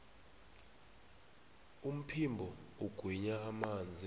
umphimbo ugwinya amanzi